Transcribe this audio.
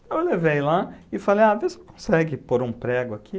Então, eu levei lá e falei, ah, vê se consegue pôr um prego aqui.